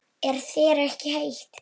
Er þér ekki heitt?